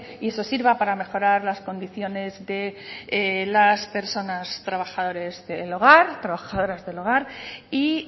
y eso sirva para mejorar las condiciones de las personas trabajadores del hogar trabajadoras del hogar y